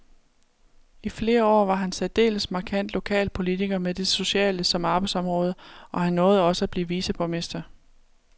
I flere år var han særdeles markant lokalpolitiker med det sociale som arbejdsområde, og han nåede også at blive viceborgmester.